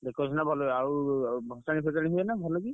Decoration ଟା ଭଲ ହୁଏ। ଆଉ ଭସାଣି ଫସାଣି ହୁଏ ଭଲ କି?